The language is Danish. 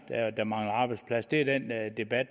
der mangler arbejdspladser det er den debat